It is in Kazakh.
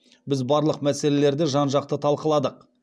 біз барлық мәселелерді жан жақты талқыладық